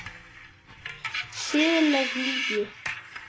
Siðleg lygi.